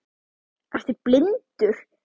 Ertu blindur!?